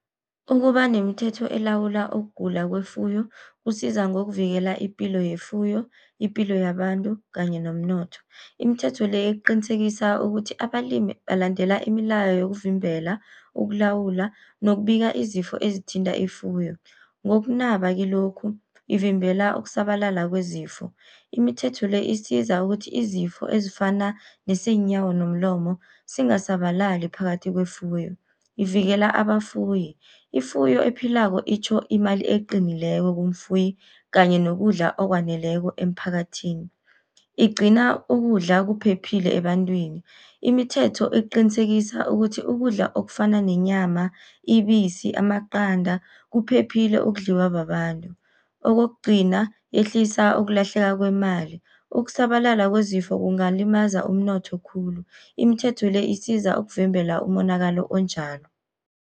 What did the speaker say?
Ukuba nemithetho elawula ukugula kwefuyo, kusiza ngokuvikela ipilo yefuyo, ipilo yabantu kanye nomnotho. Imithetho le iqinisekisa ukuthi abalimi balandela imilayo yokuvimbela ukulawula nokubika izifo ezithinta ifuyo. Ngokunaba kilokhu ivimbela ukusabalala kwezifo. Imithetho le isiza ukuthi izifo ezifana neseenyawo nomlomo singasabalali phakathi kwefuyo, ivikela abafuyi. Ifuyo ephilako itjho imali eqinileko kumfuyi kanye nokudla okwaneleko emphakathini. Igcina ukudla kuphephile ebantwini, imithetho eqinisekisa ukuthi ukudla okufana nenyama, ibisi, amaqanda kuphephile ukudliwa babantu. Kokugcina, yehlisa ukulahleka kwemali, ukusabalala kwezifo kungalimaza umnotho khulu, imithetho le isiza ukuvimbela umonakalo onjalo.